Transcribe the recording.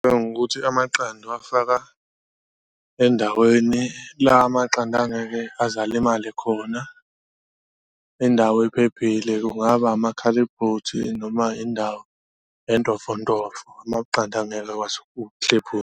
Qala ngokuthi amaqanda uwafaka endaweni la amaqanda angeke aze alimale khona indawo ephephile, kungaba amakhalebhothi noma indawo entofontofo, amaqanda angeke akwazi .